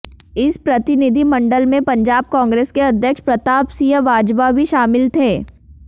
इस प्रतिनिधिमंडल में पंजाब कांग्रेस के अध्यक्ष प्रताप सिंह बाजवा भी शामिल थे